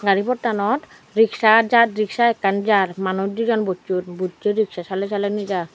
gari potanot rikshaw jaar rikshaw ekkan jaar manuch dejon bochon buche rikshaw salee salee nejaar.